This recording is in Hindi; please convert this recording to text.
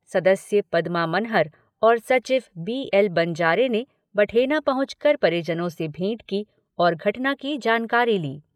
सदस्य पदमा मनहर और सचिव बी एल बंजारे ने बठेना पहुंचकर परिजनों से भेंट की और घटना की जानकारी ली।